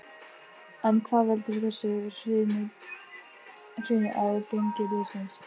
En hvað veldur þessu hruni á gengi liðsins?